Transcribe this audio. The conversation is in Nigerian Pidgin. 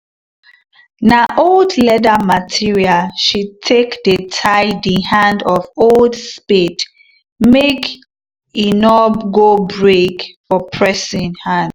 na old leather material she take dey tie the hand of old spade make d nor go break for person hand